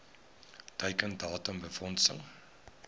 teiken datum befondsing